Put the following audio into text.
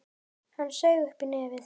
Hann saug upp í nefið.